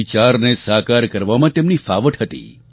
વિચારને સાકાર કરવામાં તેમને ફાવટ હતી